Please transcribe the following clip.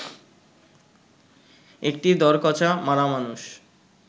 একটি দড়কচা মারা মানুষ